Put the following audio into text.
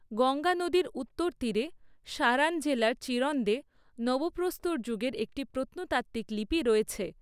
গঙ্গা নদীর উত্তর তীরে, সারান জেলার চিরন্দে নবপ্রস্তর যুগের একটি প্রত্নতাত্ত্বিক লিপি রয়েছে।